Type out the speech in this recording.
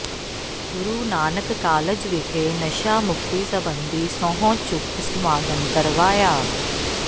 ਗੁਰੂ Nanak college ਵਿਖੇ ਨਸ਼ਾ ਮੁਕਤੀ ਸਬੰਧੀ ਸਹੁੰ ਚੁੱਕ ਸਮਾਗਮ ਕਰਵਾਇਆ